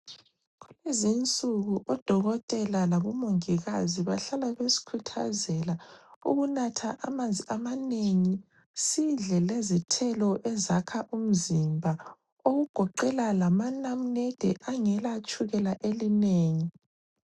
Kulezi nsuku odokotela labomongikazi bahlala besikhuthazela ukunatha amanzi amanengi, sidle le zithelo ezakha umzimba okugoqela lamanamunede angela tshukela elinengi.